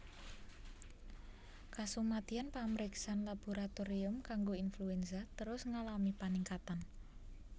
Kasumadyan pamriksan laboratorium kanggo influenza terus ngalami paningkatan